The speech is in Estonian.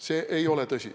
See ei ole tõsi.